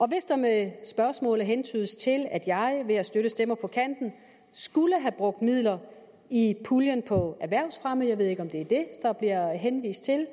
hvis der med spørgsmålet hentydes til at jeg ved at støtte stemmer på kanten skulle have brugt midler i puljen på erhvervsfremme jeg ved ikke om det er det der bliver henvist til